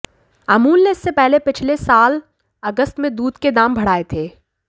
अमूल ने इससे पहले पिछले साल अगस्त में दूध के दाम बढ़ाए थे